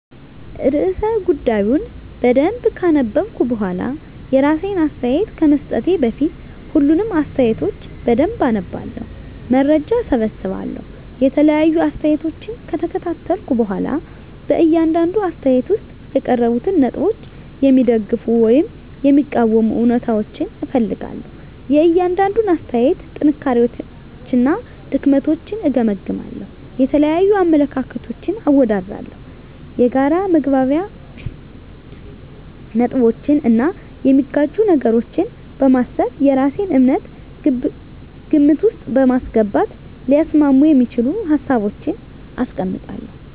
*ርዕሰ ጉዳዩን በደንብ ካነበብኩ በኋላ፤ *የራሴን አስተያየት ከመስጠቴ በፊት፦ ፣ሁሉንም አስተያየቶች በደንብ አነባለሁ፣ መረጃ እሰበስባለሁ የተለያዩ አስተያየቶችን ከተከታተልኩ በኋላ በእያንዳንዱ አስተያየት ውስጥ የቀረቡትን ነጥቦች የሚደግፉ ወይም የሚቃወሙ እውነታዎችን እፈልጋለሁ፤ * የእያንዳንዱን አስተያየት ጥንካሬዎችና ድክመቶችን እገመግማለሁ። * የተለያዩ አመለካከቶችን አወዳድራለሁ። የጋራ መግባቢያ ነጥቦችን እና የሚጋጩ ነገሮችን በማሰብ የራሴን እምነት ግምት ውስጥ በማስገባት ሊያስማሙ የሚችሉ ሀሳቦችን አስቀምጣለሁ።